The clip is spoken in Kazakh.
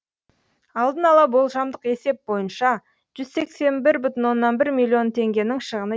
алдын ала болжамдық есеп бойынша жүз сексен бір бүтін оннан бір миллион теңгенің шығыны